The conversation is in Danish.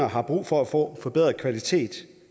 har brug for at få forbedret kvalitet